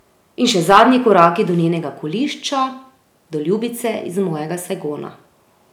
In še zadnji koraki do njenega kolišča, do ljubice iz mojega Sajgona.